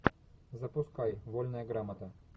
запускай вольная грамота